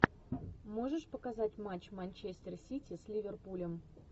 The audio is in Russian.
можешь показать матч манчестер сити с ливерпулем